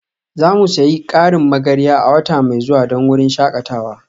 Za mu sayi ƙarin magarya a wata mai zuwa don wurin shakatawa